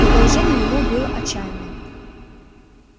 но положение его было отчаянное